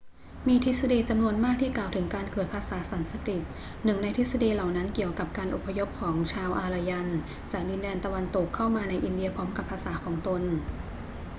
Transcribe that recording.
มีทฤษฎีจำนวนมากที่กล่าวถึงการเกิดภาษาสันสกฤต หนึ่งในทฤษฎีเหล่านั้นเกี่ยวกับการอพยพของชาวอารยันจากดินแดนตะวันตกเข้ามาในอินเดียพร้อมกับภาษาของตน